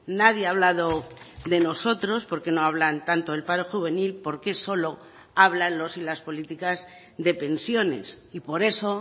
nadie ha hablado de nosotros porque no hablan tanto el paro juvenil porque solo hablan los y las políticas de pensiones y por eso